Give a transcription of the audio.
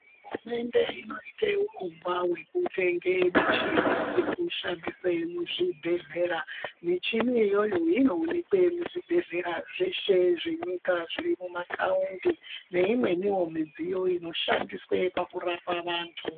Hurumende unoita mushonga wekutema michini wekushandisa muzvibhedhlera muchini iyoyo inoonekwa muzvibhedhlera zveshe zvenyika zvisina mataundi neimweni midziyo inoshandiswa pakurapa antu.